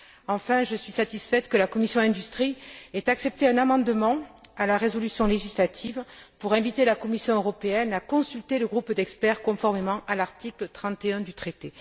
Enfin, je suis satisfaite que la commission de l'industrie ait accepté un amendement à la résolution législative pour inviter la Commission européenne à consulter le groupe d'experts, conformément à l'article 31 du traité.